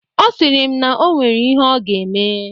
Ọ sịrị m na o nwere ihe ọ ga-eme.